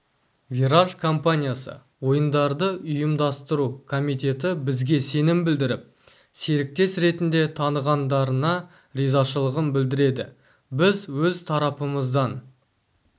вираж компаниясы ойындардың ұйымдастыру комитеті бізге сенім білдіріп серіктес ретінде танығандарына ризашылығын білдіреді біз өз тарапымыздан